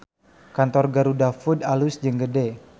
Kantor GarudaFood alus jeung gede